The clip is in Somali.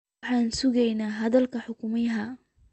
Waxaan sugeynaa hadalka hogaamiyaha